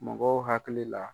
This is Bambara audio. Mɔgɔw hakili la.